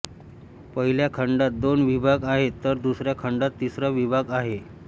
पहिल्या खंडात दोन विभाग आहेत तर दुसऱ्या खंडात तिसरा विभाग आहे